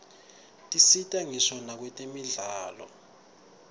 tisita ngisho nakwetemidlalo